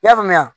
I y'a faamuya